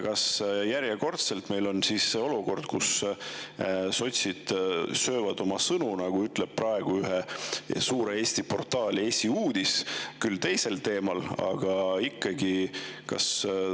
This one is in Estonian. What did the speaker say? Kas meil on järjekordselt olukord, kus sotsid söövad oma sõnu, nagu ütles ühe suure Eesti portaali esiuudis, küll teisel teemal, aga ikkagi?